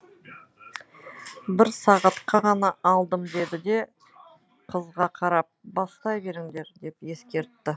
бір сағатқа ғана алдым деді де қызға қарап бастай беріңдер деп ескертті